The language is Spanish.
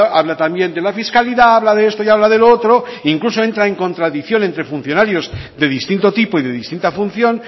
habla también de la fiscalidad habla de esto y de lo otro e incluso entra en contradicción entre funcionarios de distinto tipo y de distinta función